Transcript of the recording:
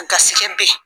Gasikɛ be yen